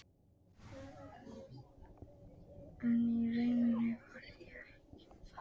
En í rauninni var ég það ekki.